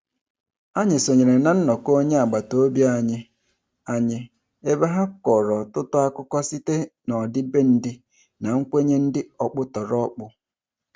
Anyị sonyere na nnọkọ onye agbataobi anyị anyị ebe ha kọrọ ọtụtụ akụkọ site n'ọdịbendị na nkwenye dị ọkpụtọrọkpụ.